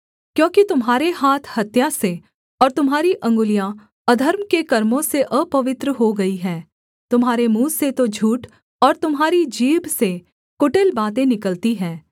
क्योंकि तुम्हारे हाथ हत्या से और तुम्हारी अंगुलियाँ अधर्म के कर्मों से अपवित्र हो गईं हैं तुम्हारे मुँह से तो झूठ और तुम्हारी जीभ से कुटिल बातें निकलती हैं